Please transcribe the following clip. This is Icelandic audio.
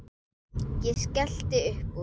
Ég skellti uppúr.